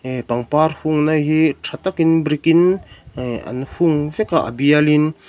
pangpar hung na hi tha takin brick in eh an hung vek a a bial in.